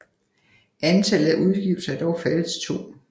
Antallet af udgivelser er dog faldet til 2